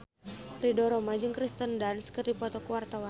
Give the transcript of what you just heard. Ridho Roma jeung Kirsten Dunst keur dipoto ku wartawan